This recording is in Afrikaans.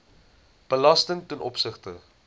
belasting ten opsigte